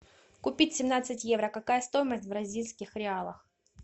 купить семнадцать евро какая стоимость в бразильских реалах